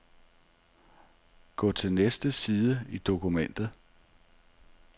Gå til næste side i dokumentet.